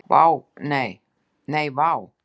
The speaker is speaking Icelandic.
Nei, vá.